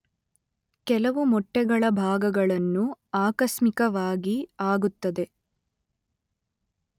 ಕೆಲವು ಮೊಟ್ಟೆಗಳ ಭಾಗಗಳನ್ನು ಆಕಸ್ಮಿಕವಾಗಿ ಆಗುತ್ತದೆ